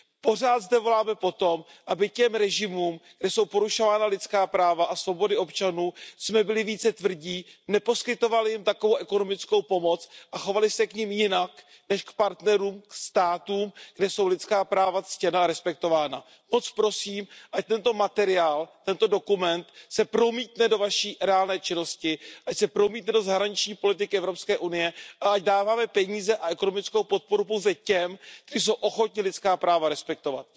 Pořád zde voláme po tom, aby k těm režimům, kde jsou porušována lidská práva a svobody občanů, jsme byli více tvrdí, neposkytovali jim takovou ekonomickou pomoc a chovali se k nim jinak než k partnerům, k státům, kde jsou lidská práva ctěna a respektována. Moc prosím, ať tento materiál, tento dokument se promítne do Vaší reálné činnosti, ať se promítne do zahraniční politiky EU a ať dáváme peníze a ekonomickou podporu pouze těm, kteří jsou ochotni lidská práva respektovat.